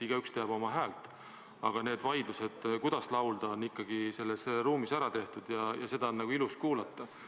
Igaüks teab oma häält, aga need vaidlused, kuidas laulda, on ikkagi selles ruumis ära peetud ja seda laulu on ilus kuulata.